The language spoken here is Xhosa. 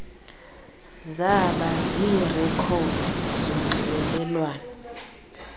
zaba ziirekhodi zonxibelelwano